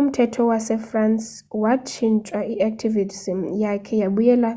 umthetho wasefrance watshintshwa. i-activism yakhe yabuyela